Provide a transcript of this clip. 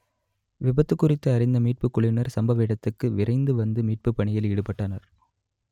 விபத்து குறித்து அறிந்த மீட்புக் குழுவினர் சம்பவ இடத்துக்கு விரைந்து வந்து மீட்பு பணியில் ஈடுபட்டனர்